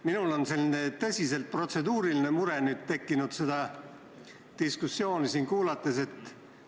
Minul on siin seda diskussiooni kuulates tekkinud selline tõsiselt protseduuriline mure.